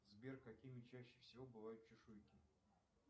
сбер какими чаще всего бывают чешуйки